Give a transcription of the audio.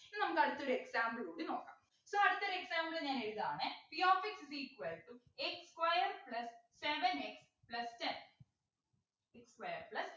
ഇനി നമുക്ക് അടുത്ത ഒരു example കൂടി നോക്കാം so അടുത്തൊരു example ഞാൻ എഴുതാണെ p of x is equal to x square plus seven x plus ten x square plus